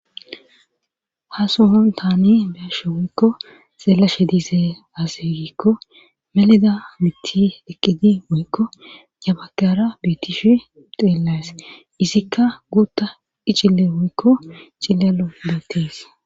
Ha sohon taani beashe woykko xeela she dise aaseegikko meleda mitti eqqedi wuykko jabakara beetishi xeelays izikka guutta iccille woykko cillalo betees.